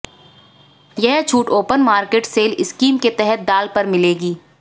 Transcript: यह छूट open market sale scheme के तहत दाल पर मिलेगी